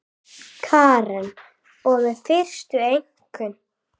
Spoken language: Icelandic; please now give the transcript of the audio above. Karen: Og með fyrstu einkunn?